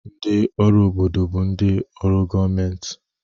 Ndị ọrụ obodo bụ ndị ọrụ gọọmentị